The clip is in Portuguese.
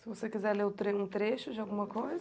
Se você quiser ler um tre, um trecho de alguma coisa?